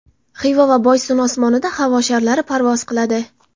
Xiva va Boysun osmonida havo sharlari parvoz qiladi.